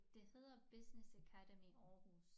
Det hedder Business Academy Aarhus